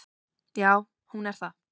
Já hún er það.